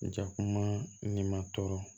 Jakuma ni ma tɔɔrɔ